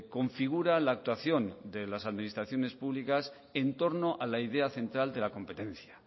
configura la actuación de las administraciones públicas en torno a la idea central de la competencia